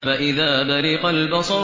فَإِذَا بَرِقَ الْبَصَرُ